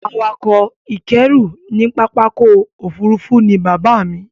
Awakọ̀ ìkẹ́rú ní pápákọ̀ òfurufú ni bàbáà mi.